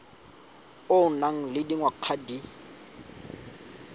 o nang le dingwaga di